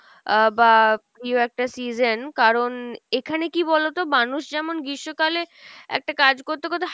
আহ বা প্রিয় একটা season, কারন এখানে কী বলোতো মানুষ যেমন গ্রীষ্মকালে একটা কাজ করতে করতে